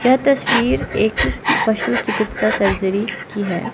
यह तस्वीर एक पशु चिकित्सा सर्जरी की है।